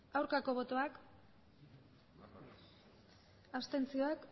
aurkako botoak abstentzioak